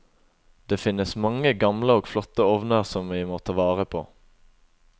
Det finnes mange gamle og flotte ovner som vi må ta vare på.